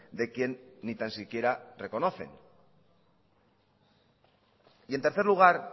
de quien ni tan siquiera reconocen y en tercer lugar